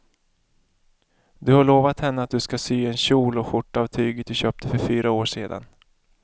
Du har lovat henne att du ska sy en kjol och skjorta av tyget du köpte för fyra år sedan.